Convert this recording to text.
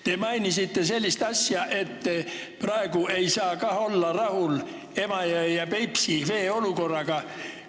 Te mainisite sellist asja, et praegu ei saa ka olla rahul Emajõe ja Peipsi vee olukorraga.